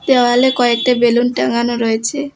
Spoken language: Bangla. দেওয়ালে কয়েকটা বেলুন টাঙানো রয়েছে।